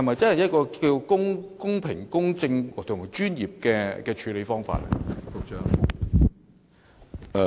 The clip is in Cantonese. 這是否公平、公正及專業的處理方法？